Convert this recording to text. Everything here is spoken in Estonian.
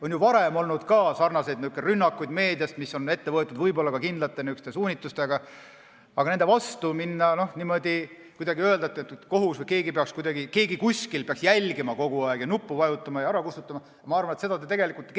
On ju varemgi olnud sarnaseid rünnakuid meedias, mis on ette võetud võib-olla ka kindla suunitlusega, aga seda, et nende vastu minna ja öelda, et kohus või keegi kuskil peaks kogu aeg jälgima ja nuppu vajutama ja ära kustutama, ma arvan, te tegelikult keegi ei taha.